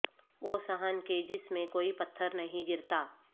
وہ صحن کہ جس میں کوئی پتھر نہیں گرتا